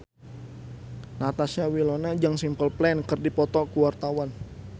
Natasha Wilona jeung Simple Plan keur dipoto ku wartawan